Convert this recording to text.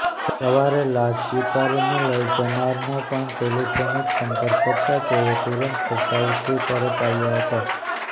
સવારે લાશ સ્વીકારીને લઇ જનારનો પણ ટેલિફોનિક સંપર્ક કરતાં તેઓ તુરંત ભચાઉથી પરત આવ્યા હતા